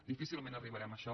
difícilment arribarem a això